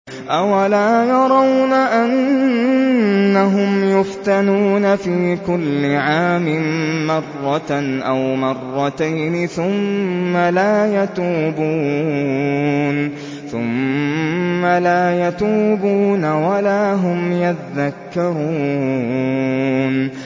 أَوَلَا يَرَوْنَ أَنَّهُمْ يُفْتَنُونَ فِي كُلِّ عَامٍ مَّرَّةً أَوْ مَرَّتَيْنِ ثُمَّ لَا يَتُوبُونَ وَلَا هُمْ يَذَّكَّرُونَ